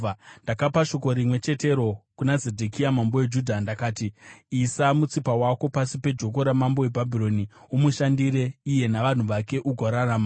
Ndakapa shoko rimwe chetero kuna Zedhekia mambo weJudha. Ndakati, “Isa mutsipa wako pasi pejoko ramambo weBhabhironi; umushandire iye navanhu vake, ugorarama.